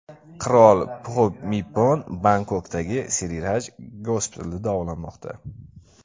Qirol Pxumipon Bangkokdagi Sirirach gospitalida davolanmoqda.